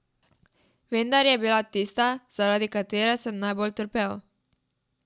Vendar je bila tista, zaradi katere sem najbolj trpel.